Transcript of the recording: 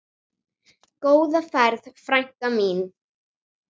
Góða ferð, frænka mín.